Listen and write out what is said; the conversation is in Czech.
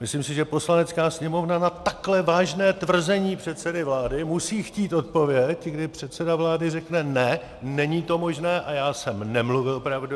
Myslím si, že Poslanecká sněmovna na takhle vážné tvrzení předsedy vlády musí chtít odpověď, kdy předseda vlády řekne: ne, není to možné a já jsem nemluvil pravdu.